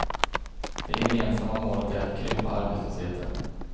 Det gemensamma målet är att krympa arbetslösheten.